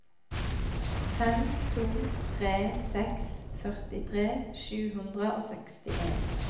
fem to tre seks førtitre sju hundre og sekstien